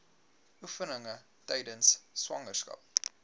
oefeninge tydens swangerskap